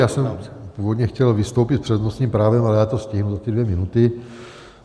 Já jsem původně chtěl vystoupit s přednostním právem, ale já to stihnu za ty dvě minuty.